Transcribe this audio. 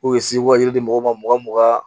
K'u ye sewaji di mɔgɔw ma mugan